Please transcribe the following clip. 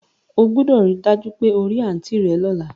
O gbúdọ̀ ri dájú pe o ri aunt rẹ lọ́la